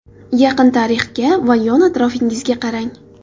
Yaqin tarixga va yon atrofingizga qarang.